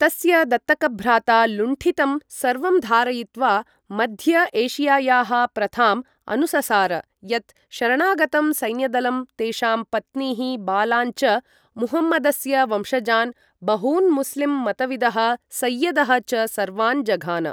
तस्य दत्तकभ्राता लुण्ठितं सर्वं धारयित्वा मध्य एशियायाः प्रथाम् अनुससार, यत् शरणागतं सैन्यदलं, तेषां पत्नीः बालान् च, मुहम्मदस्य वंशजान्, बहून् मुस्लिम् मतविदः सैय्यदः च सर्वान् जघान।